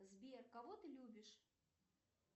сбер кого ты любишь